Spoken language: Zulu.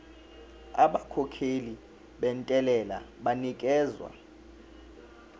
abakhokhi bentela banikezwa